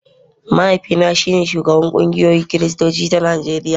mahaifina shine shugaban kungiyar kiristoci ta Najeriya